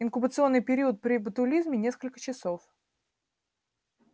инкубационный период при ботулизме несколько часов